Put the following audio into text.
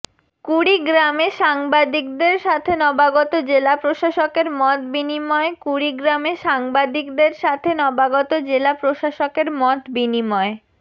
কুড়িগ্রামে সাংবাদিকদের সাথে নবাগত জেলা প্রশাসকের মতবিনিময় কুড়িগ্রামে সাংবাদিকদের সাথে নবাগত জেলা প্রশাসকের মতবিনিময়